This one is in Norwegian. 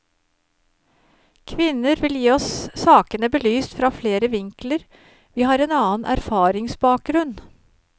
Kvinner vil gi oss sakene belyst fra flere vinkler, vi har en annen erfaringsbakgrunn.